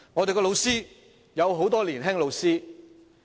教育界有很多年青教師。